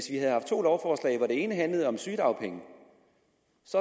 ene handlede om sygedagpenge